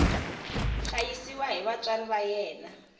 hlayisiwa hi vatswari va yena